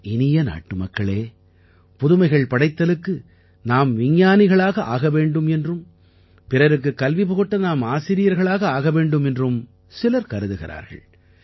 என் இனிய நாட்டுமக்களே புதுமைகள் படைத்தலுக்கு நாம் விஞ்ஞானிகளாக ஆக வேண்டும் என்றும் பிறருக்குக் கல்விபுகட்ட நாம் ஆசிரியர்களாக ஆக வேண்டும் என்றும் சிலர் கருதுகிறார்கள்